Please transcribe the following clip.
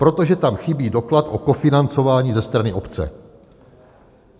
Protože tam chybí doklad o kofinancování ze strany obce.